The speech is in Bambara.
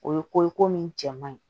O ye ko ye ko min cɛ man ɲi